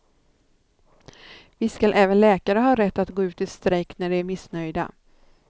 Visst skall även läkare ha rätt att gå ut i strejk när de är missnöjda.